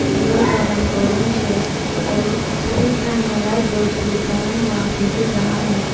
दीवार का रंग ऑरेंज है और सफेद रंग का लाइट बल्ब वह भी दिख रहा है।